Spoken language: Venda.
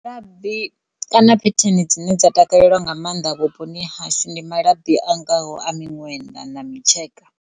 Labi kana phetheni dzine dza takaleliwa nga mannḓa vhuponi ha hashu ndi malabi a ngaho a miṅwenda na mitsheka.